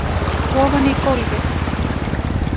Ofan í gólfið